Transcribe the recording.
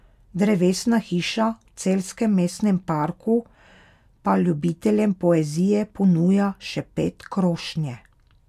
Drevesna hiša v celjskem mestnem parku pa ljubiteljem poezije ponuja Šepet krošnje.